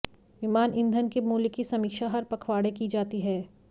विमान ईंधन के मूल्य की समीक्षा हर पखवाड़े की जाती है